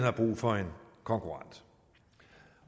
har brug for en konkurrent